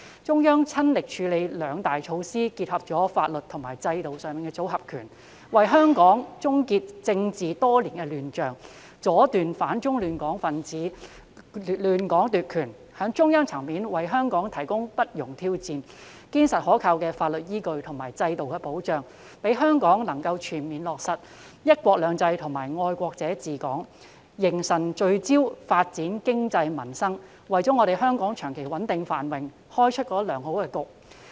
中央親力處理兩大措施，以結合法律及制度的"組合拳"，為香港終結多年來的政治亂象，阻斷反中亂港分子亂港奪權，從中央層面為香港提供不容挑戰、堅實可靠的法律依據及制度保障，讓香港能夠全面落實"一國兩制"及"愛國者治港"，凝神聚焦發展經濟民生，為香港長期穩定繁榮作出良好的開局。